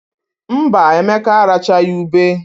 Mba, Emeka arachaghị ube.